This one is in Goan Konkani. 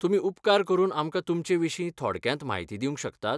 तुमी उपकार करून आमकां तुमचे विशीं थोडक्यांत म्हायती दिवंक शकतात?